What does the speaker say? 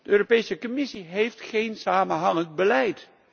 De Europese Commissie heeft geen samenhangend beleid.